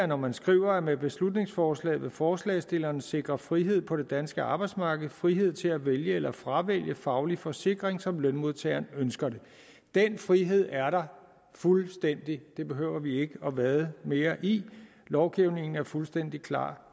når man skriver med beslutningsforslaget vil forslagsstillerne sikre frihed på det danske arbejdsmarked frihed til at vælge eller fravælge faglig forsikring som lønmodtageren ønsker det den frihed er der fuldstændigt det behøver vi ikke at vade mere i lovgivningen er fuldstændig klar